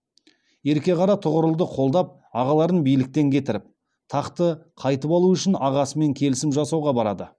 ерке қара тұғырылды қолдап ағаларын биліктен кетіріп тақты қайтып алу үшін ағасымен келісім жасауға барады